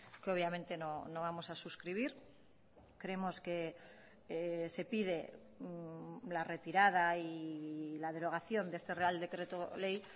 que obviamente no vamos a suscribir creemos que se pide la retirada y la derogación de este real decreto ley